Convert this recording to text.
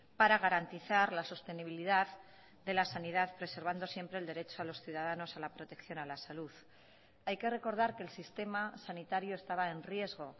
para garantizar la sostenibilidad de la sanidad preservando siempre el derecho a los ciudadanos a la protección a la salud hay que recordar que el sistema sanitario estaba en riesgo